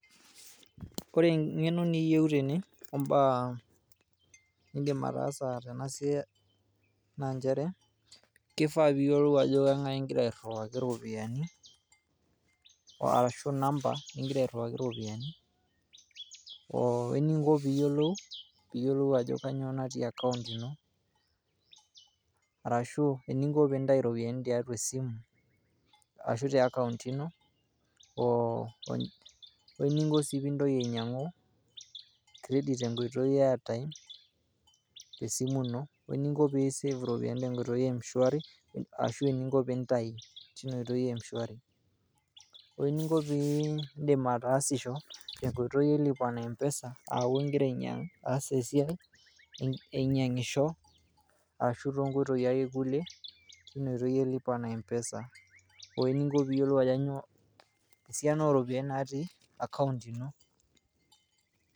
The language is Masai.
Ore engeno niyieu tene ombaa nindim ataasa tena siai .naa chere kifaa piyiolou Ajo kengae ingira airiwaki iropiyian warashu inamba ningira airiwaki iropiyian oo eninko piyiolou , piyiolou ajo kainyioo natii account ino . Arashu eniko pintayu iropiyian tiatua esimu ashu te account ino. Oo eninko sij pintoki ainyiangu credit te nkoitoi e airtime te esimu ino .